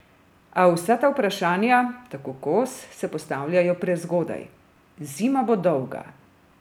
A vsa ta vprašanja, tako Kos, se postavljajo prezgodaj: "Zima bo dolga.